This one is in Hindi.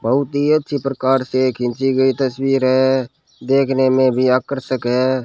बहुत ही अच्छी प्रकार से खींची गई तस्वीर है देखने में भी आकर्षक है।